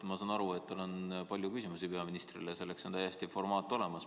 Ma saan aru, et tal on palju küsimusi peaministrile, aga selleks on täiesti formaat olemas.